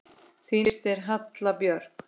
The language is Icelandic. Þín systir, Halla Björk.